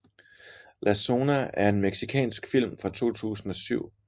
La Zona er en mexicansk film fra 2007